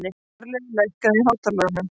Marlaug, lækkaðu í hátalaranum.